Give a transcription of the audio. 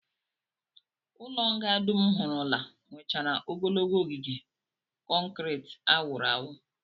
Ụlọnga dum m hụrụla nwechara ogologo ogige kọnkrit a wụrụ awụ